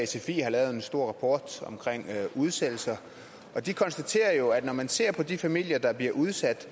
sfi har lavet en stor rapport om udsættelser og de konstaterer jo at når man ser på de familier der bliver udsat